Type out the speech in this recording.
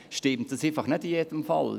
Aber das stimmt nicht in jedem Fall.